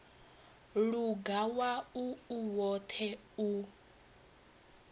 luga wau u woṱhe u